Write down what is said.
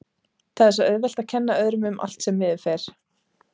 Það er svo auðvelt að kenna öðrum um allt sem miður fer.